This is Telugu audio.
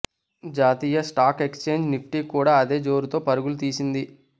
జాతీయ స్టాక్ ఎక్స్ఛేంజ్ నిఫ్టీ కూడా అదే జోరుతో పరుగులు తీసింది